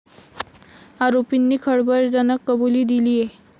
आरोपींनी खळबळजनक कबुली दिलीये.